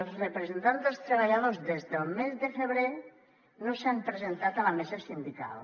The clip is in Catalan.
els representants dels treballadors des del mes de febrer no s’han presentat a la mesa sindical